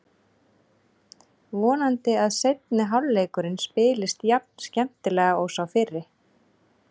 Vonandi að seinni hálfleikurinn spilist jafn skemmtilega og sá fyrri.